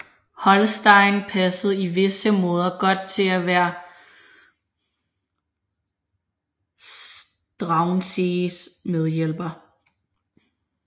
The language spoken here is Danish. Holstein passede i visse måder godt til at være Struensees medhjælper